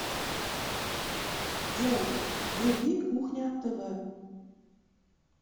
джой вруби кухня тв